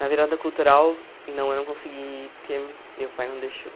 Na virada cultural, não, eu não consegui ir porque meu pai não deixou.